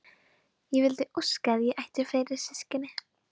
Ég vildi óska að ég ætti fleiri systkini.